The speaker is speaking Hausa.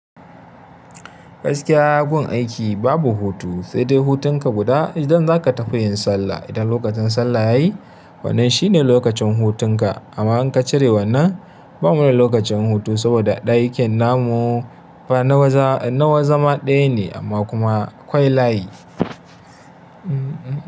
Gaskiya yayi gun aiki babu hutu, sai dai hutun ka guda idan zaka tafi yin sallah. Idan lokacin sallah yayi wannan shine lokacin hutun ka. Amma in ka cire wannan ba mu da lokacin hutu saboda aikin namun fa na wazama ɗaya ne amma kuma akwai layi.